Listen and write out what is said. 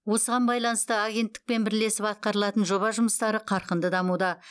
осыған байланысты агенттікпен бірлесіп атқарылатын жоба жұмыстары қарқынды дамуда